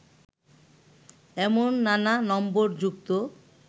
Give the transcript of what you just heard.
এমন নানা নম্বর যুক্ত